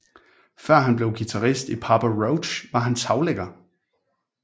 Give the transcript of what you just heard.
Før han blev guitarist i Papa Roach var han taglægger